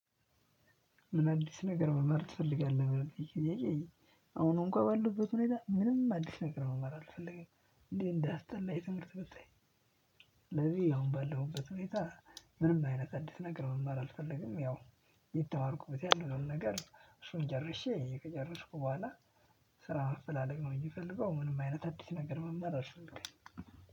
ምን አዲስ ነገር መመር ትፈልጋለህ? ለሚለው ጥያቄአሁን እንኳን ባለሁበት ሁኔታ ምንም አዲስ ነገር መመር አልፈልግም እንዴ እንደሚያስጠላኝ ትምህርት ብታይ። ስለዚህ አሁን ባለሁበት ሁኔታ ምንም አይነት አንዲስ ነገር መማር አልፈልግም። ያው የተማርኩበት ያለነውን ነገር እሱን ጀርሼ ከጨረስኩ በኋላ ስራ ማፈላለግ ነው። እንጂ የምፈልገው ምንም አይነት አዲስ ነገር መማር አልፈልግም።